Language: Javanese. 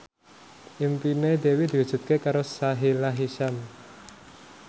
impine Dewi diwujudke karo Sahila Hisyam